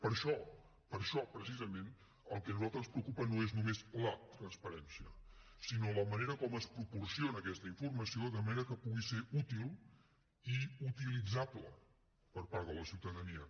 per això per això precisament el que a nosaltres ens preocupa no és només la transparència sinó la manera com es proporciona aquesta informació de manera que pugui ser útil i utilitzable per part de la ciutadania